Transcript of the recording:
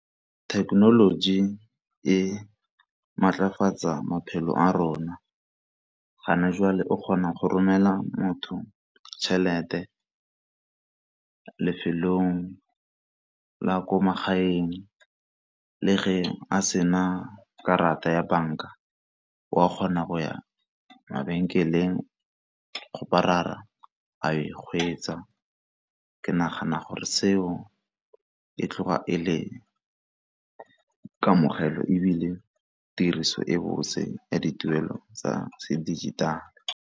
Thekenoloji e maatlafatsa maphelo a rona, gana jwale o kgona go romela motho tšhelete lefelong la ko magaeng le ge a sena karata ya banka o a kgona go ya mabenkeleng go a e hwetša, ke nagana gore seo e tloga e le kamogelo ebile tiriso e bose ya dituelo tsa se dijithale.